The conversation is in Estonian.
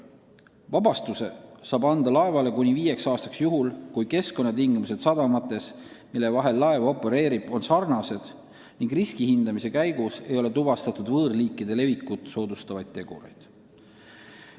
Vabastuse saab laevale anda kuni viieks aastaks juhul, kui keskkonnatingimused sadamates, mille vahel laev opereerib, on sarnased ning riski hindamise käigus ei ole tuvastatud võõrliikide levikut soodustavaid tegureid.